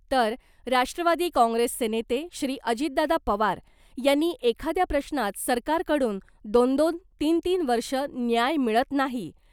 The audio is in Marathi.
तर राष्ट्रवादी काँग्रेसचे नेते श्री अजितदादा पवार यांनी एखादया प्रश्नात सरकारकडून दोन दोन , तीन तीन वर्ष न्याय मिळत नाही .